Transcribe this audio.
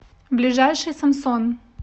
ближайший самсон